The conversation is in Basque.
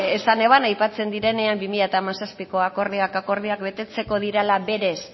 be esan eban aipatzen direnean bi mila hamazazpiko akordioak akordioak betetzeko direla berez